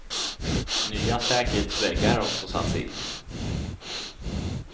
Nya säkerhetsväggar har också satts in.